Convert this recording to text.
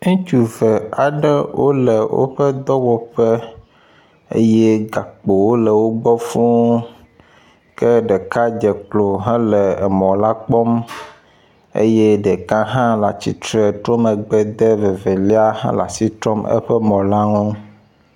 Ŋutsu eve aɖewo le woƒe dɔwɔƒe eye gakpowo le wo gbɔ fuu ke ɖeka dze klo hele emɔ la kpɔm eye ɖeka hã le atsitre tro megbe de vevelia le asitrɔm eƒe mɔ la ŋu.